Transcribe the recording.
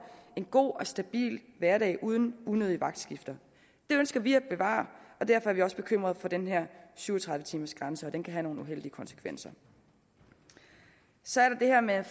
en god og stabil hverdag uden unødige vagtskifter det ønsker vi at bevare og derfor er vi også bekymrede for den her syv og tredive timersgrænse den kan have nogle uheldige konsekvenser så er der det her med